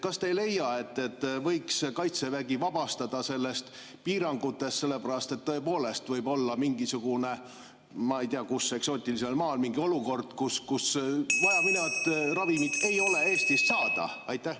Kas te ei leia, et Kaitseväe võiks vabastada nendest piirangutest, sest tõepoolest võib olla ei tea kus eksootilisel maal mingi olukord, kus vajaminevat ravimit ei ole Eestis saada?